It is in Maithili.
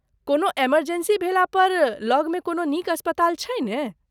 कोनो इमर्जेंसी भेला पर लगमे कोनो नीक अस्पताल छै ने ?